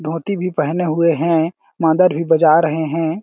धोती भी पहने हुए हैं मांदर भी बजा रहै हैं।